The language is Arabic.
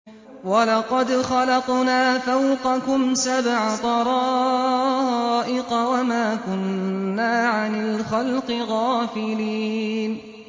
وَلَقَدْ خَلَقْنَا فَوْقَكُمْ سَبْعَ طَرَائِقَ وَمَا كُنَّا عَنِ الْخَلْقِ غَافِلِينَ